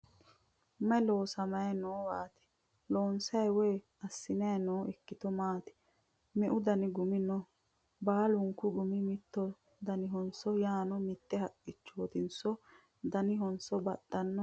May loosamay noowaati? Loonsay woy assantanni noo ikkito maati? Meu dani gumi no? Baalunku gumi mittu danihoso yaano mitte haqqichote danihonso baxxanno?